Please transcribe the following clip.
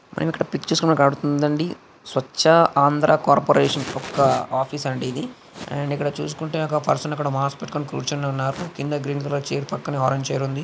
మనకి ఇక్కడ pictures లో మనకు కనబడుతుంది. అండి స్వచ్ఛ ఆంధ్ర కార్పొరేషన్ యొక్క ఆఫీస్ అండి. ఇది అండ్ ఇక్కడ చూసుకుంటే ఒక పర్సన్ ఇక్కడ మాస్క్ పెట్టుకొని కూర్చుని ఉన్నారు. కింద గ్రీన్ కలర్ చైర్ పక్కనే ఆరెంజ్ కలర్ చైర్ ఉంది.